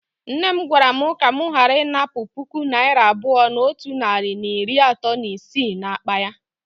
Nne m gwara m ka m ghara inapu puku naira abuo na otu nari na iri ato na isii n'akpa ya.